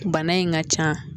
Bana in ka ca